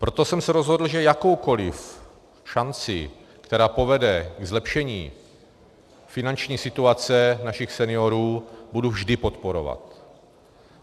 Proto jsem se rozhodl, že jakoukoliv šanci, která povede ke zlepšení finanční situace našich seniorů, budu vždy podporovat.